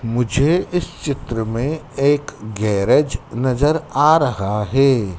मुझे इस चित्र में एक गैरेज नजर आ रहा है।